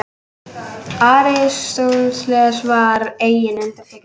Aristóteles var engin undantekning.